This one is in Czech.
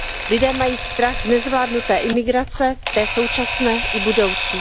Lidé mají strach z nezvládnuté imigrace, té současné i budoucí.